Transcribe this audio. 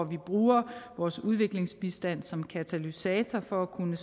vi bruger vores udviklingsbistand som katalysator for at kunne